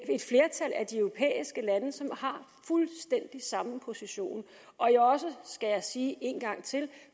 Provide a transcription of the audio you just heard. de europæiske lande som har fuldstændig samme position og jeg er også skal jeg sige en gang til